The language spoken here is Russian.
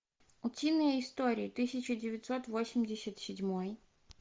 утиные истории тысяча девятьсот восемьдесят седьмой